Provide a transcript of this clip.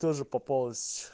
тоже попалась